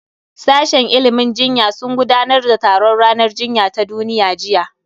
Sashen ilimin jinya sun gudanar da taron ranar jinya ta duniya jiya